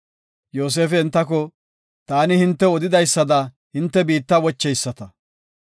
Yoosefi entako, “Taani hintew odidaysada hinte biitta wocheyisata.